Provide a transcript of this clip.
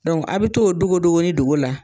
a' bɛ t'o dogodogoni dogo la